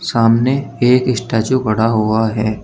सामने एक स्टेच्यू खड़ा हुआ है।